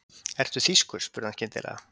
Ertu þýskur? spurði hann skyndilega.